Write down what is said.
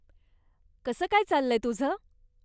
कसं काय चाललंय तुझं?